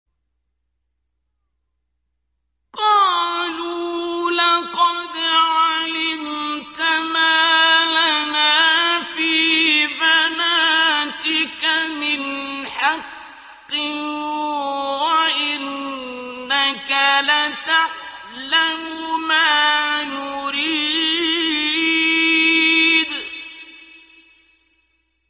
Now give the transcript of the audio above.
قَالُوا لَقَدْ عَلِمْتَ مَا لَنَا فِي بَنَاتِكَ مِنْ حَقٍّ وَإِنَّكَ لَتَعْلَمُ مَا نُرِيدُ